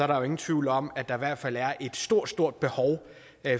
der jo ingen tvivl om at der i hvert fald er et stort stort behov